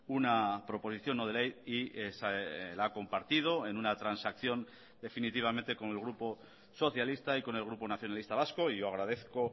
una proposición no de ley y la ha compartido en una transacción definitivamente con el grupo socialista y con el grupo nacionalista vasco y yo agradezco